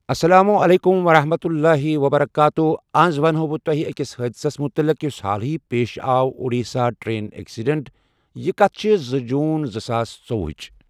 اسلام عليكم ورحمة الله وبركاته آز ونہٕ ہو بہٕ تۄہہِ أکِس حادثَس مُتعلق یُس حالہٕے آو پیش اُڈیٖسا ٹرین اٮ۪کسڈنٛٹ یہِ کتھ چھِ زٕ جوٗن زٕ ساس ژۄوُہٕچ۔